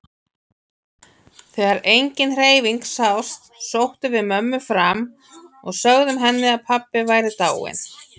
Þegar engin hreyfing sást sóttum við mömmu fram og sögðum henni að pabbi væri dáinn.